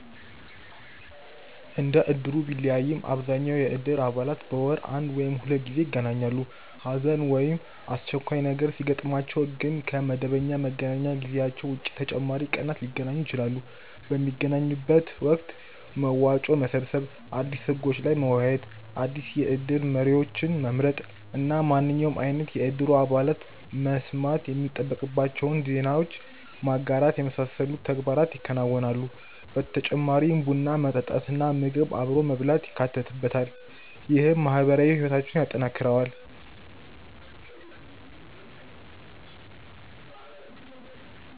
እንደ እድሩ ቢለያይም አብዛኛው የእድር አባላት በወር አንድ ወይም ሁለት ጊዜ ይገናኛሉ። ሀዘን ወይም አስቸኳይ ነገር ሲያጥማቸው ግን ከ መደበኛ መገናኛ ጊዜያቸው ውጪ ተጨማሪ ቀናትን ሊገናኙ ይችላሉ። ። በሚገናኙበት ወቅት መዋጮ መሰብሰብ፣ አዲስ ህጎች ላይ መወያየት፣ አዲስ የእድር መሪዎችን መምረጥ እና ማንኛውም አይነት የእድሩ አባላት መስማት የሚጠበቅባቸውን ዜናዎች ማጋራት የመሳሰሉትን ተግባራት ያከናውናሉ። በተጨማሪም ቡና መጠጣት እና ምግብ አብሮ መብላት ይካተትበታል። ይህም ማህበራዊ ህይወታቸውን ያጠናክረዋል።